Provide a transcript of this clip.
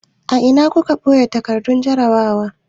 A ina kuka ɓoye takardun jarrabawa?